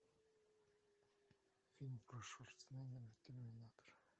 фильм про шварценеггера терминатор